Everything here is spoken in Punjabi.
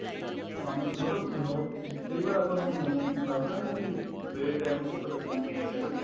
ਪਾਣੀ ਮਤਲਬ ਅਮ ਲੱਗਦਾ ਨੀ ਕੀ ਬੇ ਟੇਮ ਭੁੱਖ ਲੱਗਣੀ ਕਿਹ ਦਿੰਨੇ ਹਾਂ ਆਪਾਂ